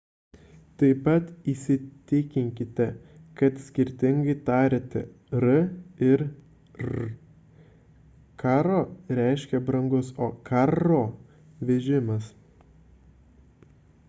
taip pat įsitikinkite kad skirtingai tariate r ir rr caro reiškia brangus o carro – vežimas